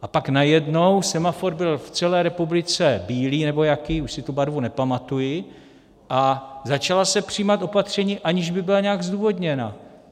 A pak najednou semafor byl v celé republice bílý nebo jaký, už si tu barvu nepamatuji, a začala se přijímat opatření, aniž by byla nějak zdůvodněna.